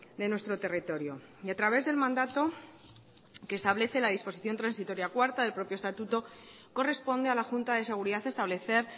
de nuestro territorio y a través del mandato que establece la disposición transitoria cuarta del propio estatuto corresponde a la junta de seguridad establecer